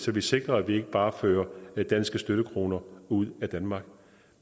vi sikrer at vi ikke bare fører danske støttekroner ud af danmark